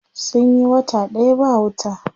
Sun yi wata ɗaya ba wuta.